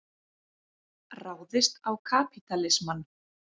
Ráðist á kapítalismann.